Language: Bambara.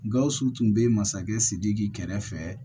Gawusu tun bɛ masakɛ sidiki kɛrɛfɛ